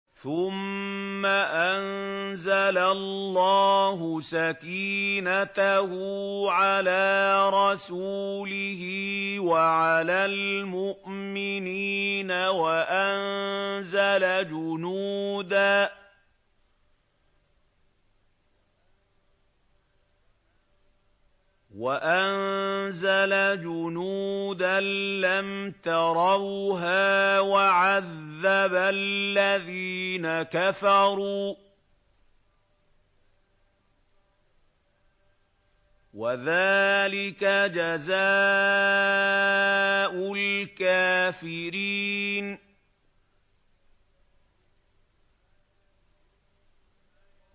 ثُمَّ أَنزَلَ اللَّهُ سَكِينَتَهُ عَلَىٰ رَسُولِهِ وَعَلَى الْمُؤْمِنِينَ وَأَنزَلَ جُنُودًا لَّمْ تَرَوْهَا وَعَذَّبَ الَّذِينَ كَفَرُوا ۚ وَذَٰلِكَ جَزَاءُ الْكَافِرِينَ